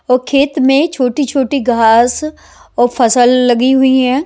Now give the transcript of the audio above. और खेत में छोटी-छोटी घास और फसल लगी हुई है।